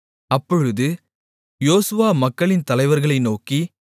அப்பொழுது யோசுவா மக்களின் தலைவர்களை நோக்கி